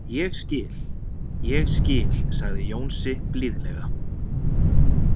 Ég skil, ég skil sagði Jónsi blíðlega.